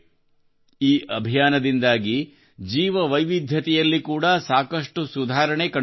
ಈ ಅಭಿಯಾನದಿಂದಾಗಿ ಜೀವವೈವಿಧ್ಯತೆಯಲ್ಲಿ ಕೂಡಾ ಸಾಕಷ್ಟು ಸುಧಾರಣೆ ಕಂಡುಬರುತ್ತಿದೆ